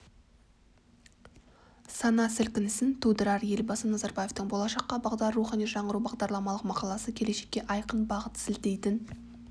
сана сілкінісін тудырар елбасы назарбаевтың болашаққа бағдар рухани жаңғыру бағдарламалық мақаласы келешекке айқын бағыт сілтейтін